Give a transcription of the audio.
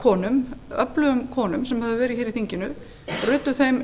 konum öflugum konum sem höfðu verið hér í þinginu ruddu þeim